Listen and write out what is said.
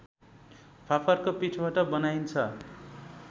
फापरको पिठोबाट बनाइन्छ